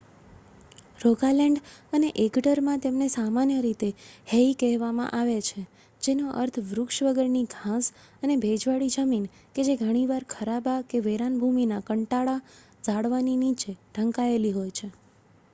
"Rogaland અને એગડરમાં તેમને સામાન્ય રીતે "હેઇ" કહેવામાં આવે છે જેનો અર્થ વૃક્ષ વગરની ઘાસ અને ભેજવાળી જમીન કે જે ઘણીવાર ખરાબા કે વેરાન ભૂમિનાં કાંટાળાં ઝાડવાંની નીચે ઢંકાયેલી હોય છે.